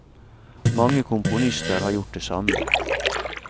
Mange komponister har gjort det samme.